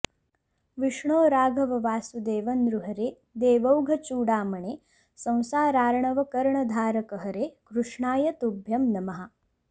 विष्णो राघव वासुदेव नृहरे देवौघचूडामणे संसारार्णवकर्णधारक हरे कृष्णाय तुभ्यं नमः